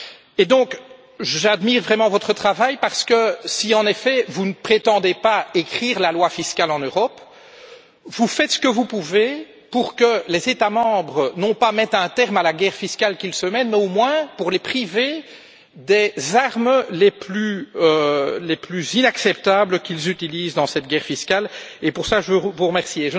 Et donc, j'admire vraiment votre travail, parce que si, en effet, vous ne prétendez pas écrire la loi fiscale en Europe, vous faites ce que vous pouvez non pas pour que les États membres mettent un terme à la guerre fiscale qu'ils se mènent, mais au moins pour les priver des armes les plus inacceptables qu'ils utilisent dans cette guerre fiscale et pour cela, je vous remercie.